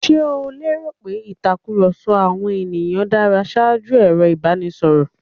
Ṣe o lẹ́rò pé ìtakùrọ̀sọ àwọn ènìyàn dára ṣaájú ẹ̀rọ ìbánisọ̀rọ̀?